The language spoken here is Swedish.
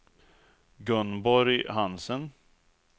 Gunborg Hansen